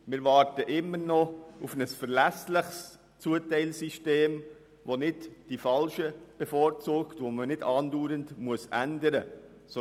Wir warten immer noch auf ein verlässliches Zuteilsystem, das nicht die Falschen bevorzugt und andauernd geändert werden muss.